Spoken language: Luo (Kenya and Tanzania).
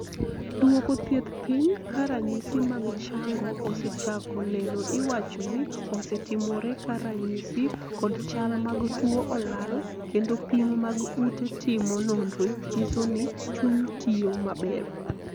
duoko thieth piny ka ranyisi mag chango osechako neno iwacho ni osetimore ka ranyisi kod chal mag tuo olal kendo pim mag ute timo nonro nyiso ni chuny tiyo maber